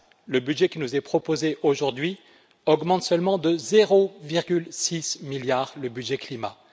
Le budget qui nous est proposé aujourd'hui augmente seulement de 0,6 milliard le budget climat.